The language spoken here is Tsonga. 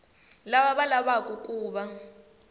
lava va lavaku ku va